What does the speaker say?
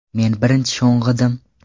Men birinchi sho‘ng‘idim.